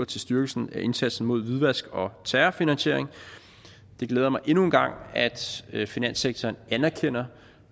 til styrkelse af indsatsen mod hvidvask og terrorfinansiering det glæder mig endnu en gang at finanssektoren anerkender